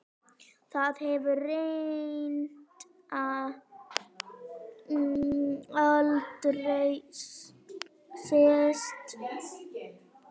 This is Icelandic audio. Það hefur reyndar aldrei gerst.